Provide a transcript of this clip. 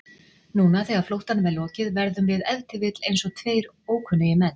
Núna þegar flóttanum er lokið verðum við ef til vill einsog tveir ókunnugir menn.